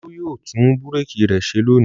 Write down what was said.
Olú yóò tún búrékì rẹ ṣe lónìí.